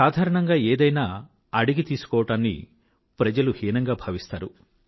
సాధారణంగా ఏదైనా అడిగి తీశుకోవడాన్ని ప్రజలు హీనంగా భావిస్తారు